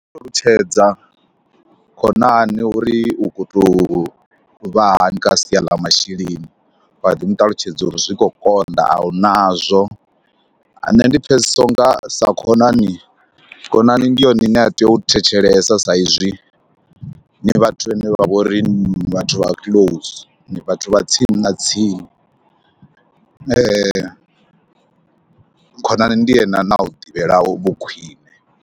Ndi nga ṱalutshedza khonani uri u khou tou vha hani kha sia ḽa masheleni, wa ḓi mu ṱalutshedza uri zwi khou konḓa a u nazwo. Nṋe ndi pfhesesa u nga sa khonani, khonani ndi yone ine a tea u thetshelesa sa izwi ndi vhathu vhane vha vho ri ni vhathu vha close, ndi vhathu vha tsini na tsini. Khonani ndi ene ane a u ḓivhela vhukhwiṋe.